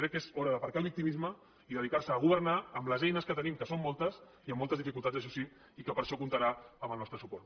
crec que és hora d’aparcar el victimisme i dedicar se a governar amb les eines que tenim que són moltes i amb moltes dificultats això sí i que per a això comptarà amb el nostre suport